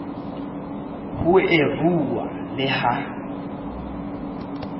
ho e rua le ha